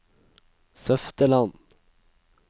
Søfteland